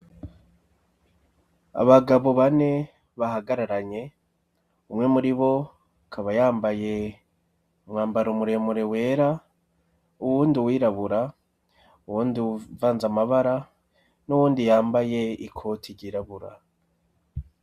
Abagabo bane bahagararanye, umwe muri bo akaba yambaye umwambaro muremure wera, uwundi uwirabura, uwundi uvanze amabara, n'uwundi yambaye ikoti ryirabura.